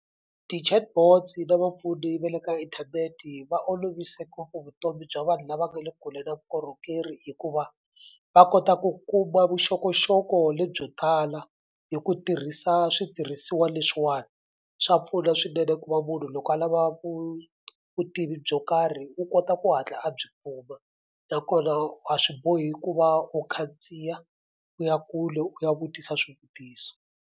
Ti-Chatbots na vapfuni va le ka inthaneti va olovise ngopfu vutomi bya vanhu lava nga le kule na vukorhokeri hikuva va kota ku kuma vuxokoxoko lebyo tala hi ku tirhisa switirhisiwa leswiwani swa pfuna swinene ku va munhu loko a lava vutivi byo karhi u kota ku hatla a byi kuma nakona a swi bohi ku va u khandziya u ya kule u ya vutisa swivutiso.